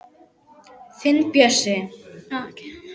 Þinn Bjössi.